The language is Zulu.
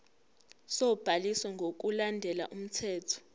sobhaliso ngokulandela umthetho